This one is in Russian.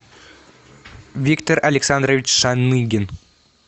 виктор александрович шаныгин